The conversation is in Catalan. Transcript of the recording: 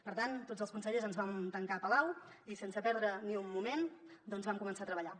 per tant tots els consellers ens vam tancar a palau i sense perdre ni un moment vam començar a treballar